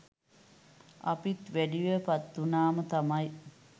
අපිත් වැඩිවිය පත්වුනාම තමයි